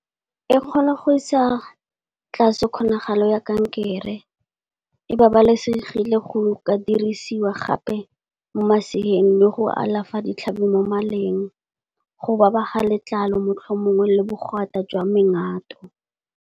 E kgona go isa tlase kgonagalo ya kankere, e babalesegile go ka dirisiwa gape mo maseeng le go alafa ditlhabi mo maleng. Go ba ba ga letlalo motlho o mongwe le bogwata jwa mengato.